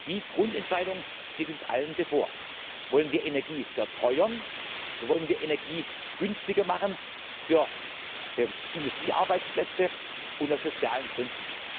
Die Grundentscheidung steht uns allen bevor Wollen wir Energie verteuern, oder wollen wir Energie günstiger machen für Industriearbeitsplätze und aus sozialen Gründen?